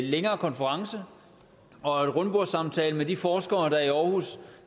længere konference og en rundbordssamtale med de forskere der i aarhus